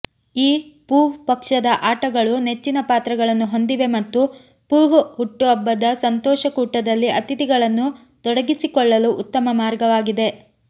ಈ ಪೂಹ್ ಪಕ್ಷದ ಆಟಗಳು ನೆಚ್ಚಿನ ಪಾತ್ರಗಳನ್ನು ಹೊಂದಿವೆ ಮತ್ತು ಪೂಹ್ ಹುಟ್ಟುಹಬ್ಬದ ಸಂತೋಷಕೂಟದಲ್ಲಿ ಅತಿಥಿಗಳನ್ನು ತೊಡಗಿಸಿಕೊಳ್ಳಲು ಉತ್ತಮ ಮಾರ್ಗವಾಗಿದೆ